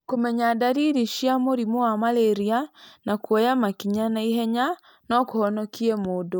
Kũmenya ndariri cia mũrimũ wa malaria na kuoya makinya na ihenya no kũhonokie mũndũ.